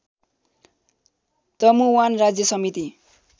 तमुवान राज्य समिति